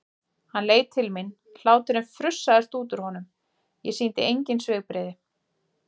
Hann leit til mín, hláturinn frussaðist út úr honum, ég sýndi engin svipbrigði.